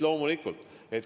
Loomulikult!